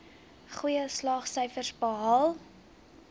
goeie slaagsyfers behaal